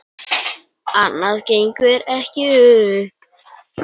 Annað gengur ekki upp.